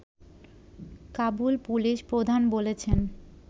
Kabul police প্রধান বলেছেন